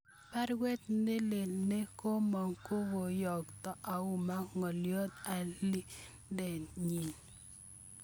Parwet nelel ne komong kokoyokta auma ngoliot alindet nyin